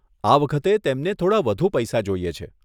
આ વખતે તેમણે થોડાં વધુ પૈસા જોઈએ છે.